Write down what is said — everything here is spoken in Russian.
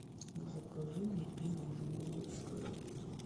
закажи мне пиво жигулевское